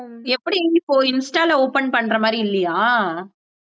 எப்படி இப்போ Insta ல open பண்ற மாதிரி இல்லையா